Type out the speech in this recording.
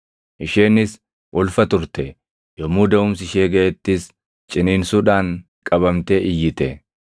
Isheenis ulfa turte; yommuu daʼumsi ishee gaʼettis ciniinsuudhaan qabamtee iyyite.